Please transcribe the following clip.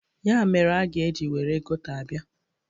Ya mere a ga-eji were gota abịa.